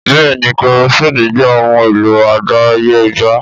Bẹ́ẹ̀ni kerosínnì jẹ ohun èlò àdáyébá